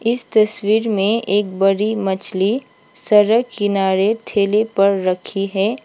इस तस्वीर में एक बड़ी मछली सड़क किनारे ठेले पर रखी है।